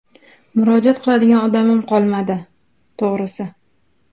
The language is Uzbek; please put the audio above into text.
Murojaat qiladigan odamim qolmadi, to‘g‘risi.